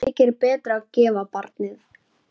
Þykir betra að gefa barnið.